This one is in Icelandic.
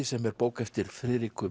sem er bók eftir Friðriku